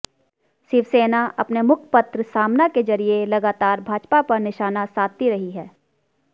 शिवसेना अपने मुखपत्र सामना के जरिये लगातार भाजपा पर निशाना साधती रही है